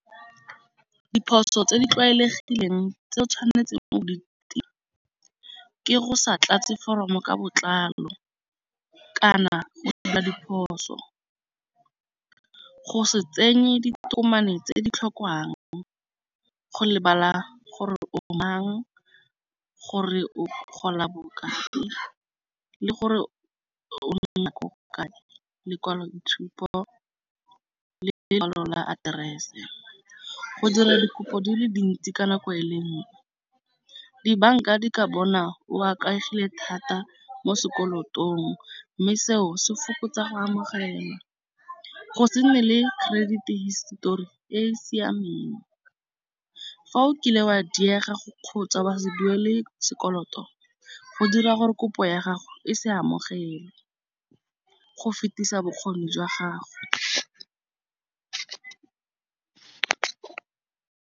Diphoso tse di tlwaelegileng tse tshwanetseng o tila ke go sa tlatse foromo ka botlalo, kana go simolola diphoso. Go se tsenye ditokomane tse di tlhokwang go lebala gore o mang gore, o gola bokae le gore o nna ko kae, lekwalo itshupo le jalo la aterese. Go dira dikopo di le dintsi ka nako e le nngwe. Dibanka di ka bona o a ikaegile thata mo sekolotong mme seo se fokotsa go amogela go se nne le credit histori e e siameng. Fa o kile wa diega go kgotsa wa se duele sekoloto go dira gore kopo ya gago e se amogele go fetisa bokgoni jwa gago.